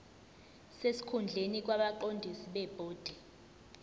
sesikhundleni kwabaqondisi bebhodi